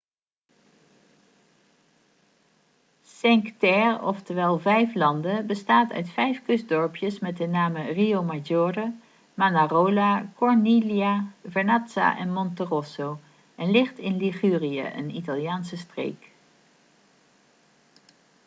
cinque terre oftewel vijf landen bestaat uit vijf kustdorpjes met de namen riomaggiore manarola corniglia vernazza en monterosso en ligt in ligurië een italiaanse streek